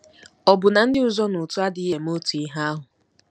“Ọ̀ bụ na ndị ụzọnaụtụ adịghị eme otu ihe ahụ?